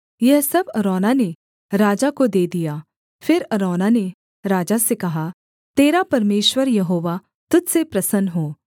यह सब अरौना ने राजा को दे दिया फिर अरौना ने राजा से कहा तेरा परमेश्वर यहोवा तुझ से प्रसन्न हो